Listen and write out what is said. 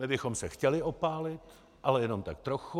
My bychom se chtěli opálit, ale jenom tak trochu.